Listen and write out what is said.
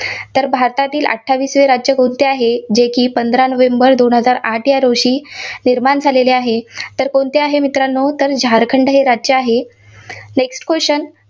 तर भारतातील अठ्ठावीसवे राज्य कोणते आहे पंधरा नोव्हेंबर दोन हजार आठ या रोजी निर्माण झालेले आहे, कोणते आहे मित्रांनो तर झारखंड हे राज्य आहे. next question